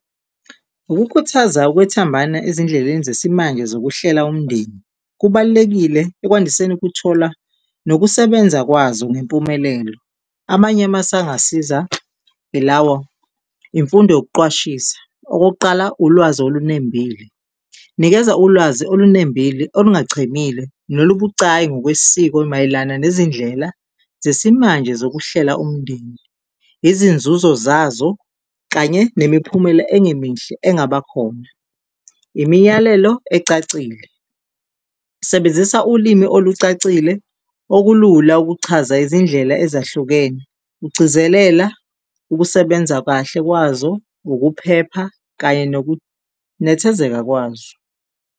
Ukukhuthaza ukwethembana ezindleleni zesimanje zokuhlela umndeni kubalulekile ekwandiseni ukuthola nokusebenza kwazo ngempumelelo. Amanye amasu angasiza ilawa, imfundo yokuqwashisa, okokuqala ulwazi olunembile, nikeza ulwazi olunembile olungachemile nolubucayi ngokwesiko mayelana nezindlela zesimanje zokuhlela umndeni, izinzuzo zazo kanye nemiphumela engemihle engabakhona. Imiyalelo ecacile, sebenzisa ulimi olucacile okulula ukuchaza izindlela ezahlukene, ugcizalela ukusebenza kahle kwazo, ukuphepha kanye nokunethezeka kwazo.